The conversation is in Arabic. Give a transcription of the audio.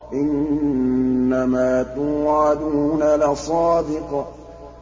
إِنَّمَا تُوعَدُونَ لَصَادِقٌ